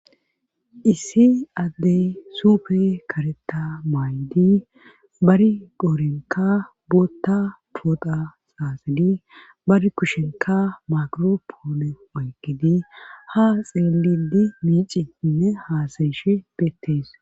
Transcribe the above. issi addey supe kareta maaydi bari qoorenka bootta poota xaaxadi bari kushenka makiro poone oygidi ha xeelidi miiciinne haasayishe beettees